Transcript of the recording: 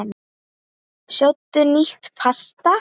Sjóddu nýtt pasta.